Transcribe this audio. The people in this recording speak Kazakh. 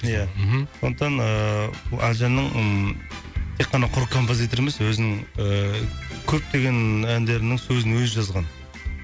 ия мхм сондықтан ыыы әлжанның ммм тек қана құр композитор емес өзінің ііі көптеген әндерінің сөзін өзі жазған